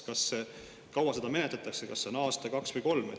Kui kaua seda menetletakse, on see aasta, kaks või kolm?